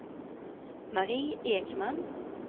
Mari Ekman